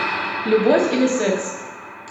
любовь или секс